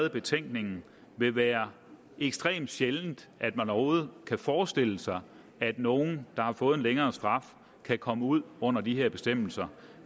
i betænkningen vil være ekstremt sjældent at man overhovedet kan forestille sig at nogen der har fået en længere straf kan komme ud under de her bestemmelser